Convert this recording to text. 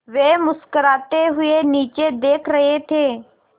वे मुस्कराते हुए नीचे देख रहे थे